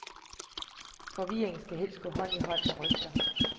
Forvirring skal helst gå hånd i hånd med rygter.